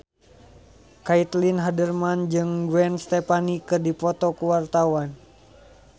Caitlin Halderman jeung Gwen Stefani keur dipoto ku wartawan